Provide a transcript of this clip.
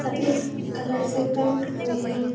सफ़ेद कलर से पेंट हुए हैं।